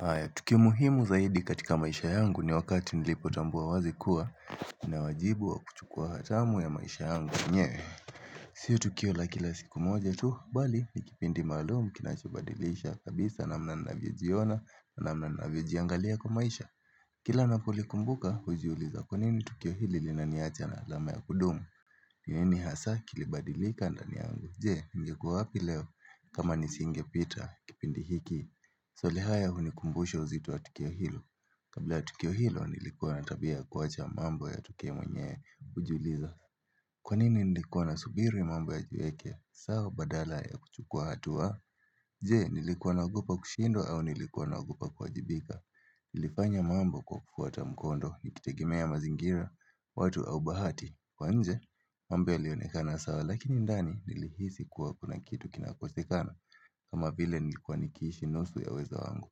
Haya tukio muhimu zaidi katika maisha yangu ni wakati nilipotambua wazi kuwa ninawajibu wa kuchukua hatamu ya maisha yangu mwenyewe Sio tukio la kila siku moja tu mbali ni kipindi maalum kinachobadilisha kabisa namna ninavyojiona namna ninavyojiangalia kwa maisha Kila napolikumbuka hujiuliza kwanini tukio hili linaniacha na alama ya kudumu ni nini hasa kilibadilika ndani yangu je ningekuwa wapi leo kama nisingepita kipindi hiki Swali haya hunikumbusha uzito wa tukio hilo kabla ya tukio hilo nilikuwa na tabia ya kuwacha mambo yatukie mwenye hujuliza Kwa nini nilikuwa nasubiri mambo yajiweke sawa badala ya kuchukua hatua Je nilikuwa naogopa kushindwa au nilikuwa naogopa kuwajibika Nilifanya mambo kwa kufuata mkondo nikitegemea mazingira watu au bahati kwa nje mambo ilionekana sawa lakini ndani nilihisi kuwa kuna kitu kinakosekana kama vile nilikuwa nikiishi nusu ya uwezo wangu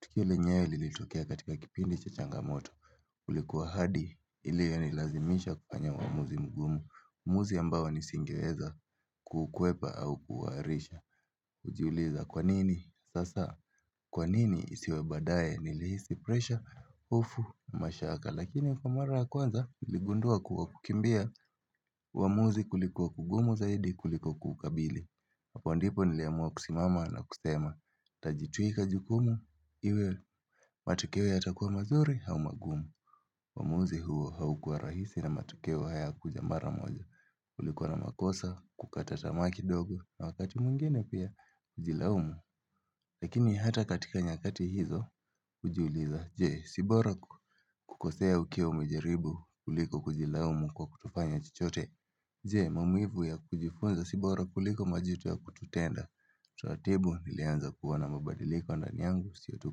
tukio lenyewe lilitokea katika kipindi cha changamoto ulikuwa hadi ilionilazimisha kufanya maamuzi ngumu Muzi ambawa nisingeweza kukuwepa au kuwarisha Ujiuliza kwanini sasa kwanini isiwebadae nilihisi presha ufu mashaka Lakini kwa mara kwanza iligundua kuwa kukimbia Wamuzi kulikuwa kugumu zaidi kulikuwa kukabili Hapo ndipo nileamua kusimama na kusema Tajituika jukumu iwe matukewe hatakuwa mazuri hau magumu Wamuuzi huo haukua rahisi na matukewe haya kuja mara moja ulikuwa na makosa kukata tamaki dogo na wakati mwingine pia ujilaumu Lakini hata katika nyakati hizo ujiuliza Jee, si bora kukosea ukiwa umejeribu kuliko kujila umu kwa kutufanya chichote Jee, mamuivu ya kujifunza sibora kuliko majitu ya kututenda Tuatibu nilianza kuwa na mabadilika ondani angu siotu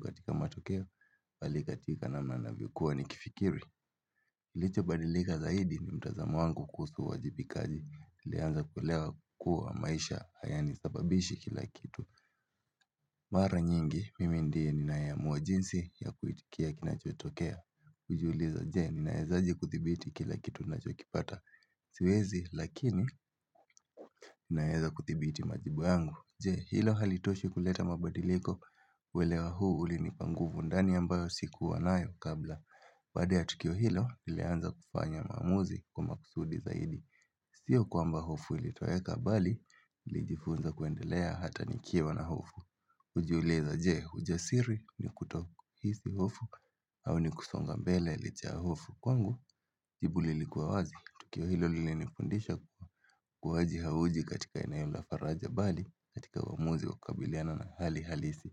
katika matokeo Pali katika na manavikuwa nikifikiri Licho badilika zaidi ni mtazamu wangu kusu wajibikaji Nilianza kuwelewa kukua maisha hayani sababishi kila kitu Mara nyingi, mimi ndiye ni naeamuwa jinsi ya kuitikia kinachotokea Ujuuliza jee ni naezaji kuthibiti kila kitu na chokipata Siwezi lakini naezaji kuthibiti majibu yangu Jee hilo halitoshe kuleta mabadiliko Welewa huu uli nipanguvu ndani ambayo sikuwa nayo kabla Badea tukio hilo nileanza kufanya mamuzi kuma kusudi zaidi Sio kwa mba hofu ilitoeka bali Lijifunza kuendelea hata nikiwa na hofu Ujuuliza jee ujasiri ni kuto hisi hofu au ni kusonga mbele ilichahofu kwangu jibu lilikuwa wazi tukio hilo lile nifundisha kuwa Kuhaji hauji katika inayomla faraja bali katika aamuzi wa kabiliana na hali halisi.